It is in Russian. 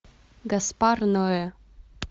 гаспар ноэ